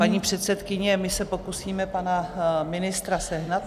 Paní předsedkyně, my se pokusíme pana ministra sehnat.